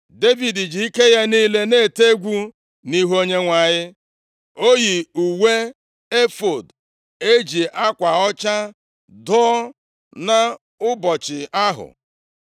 Devid ji ike ya niile na-ete egwu nʼihu Onyenwe anyị. Ọ yi uwe efọọd e ji akwa ọcha dụọ nʼụbọchị ahụ,